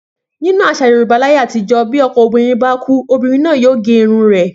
Nínú às̩à Yorùbá láyé àtijó̩, bí o̩k̩o̩ obìnrin bá kú, obìnrin náà yóò gé orun rè̩